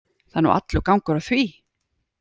Það er nú allur gangur á því.